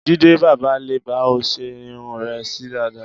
Jídé bábà lè bá ọ ṣe irun rẹ sí dàda